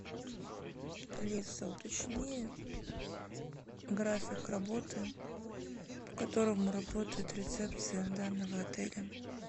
алиса уточни график работы по которому работает рецепция данного отеля